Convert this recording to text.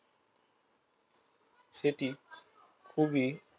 সেটি খুবই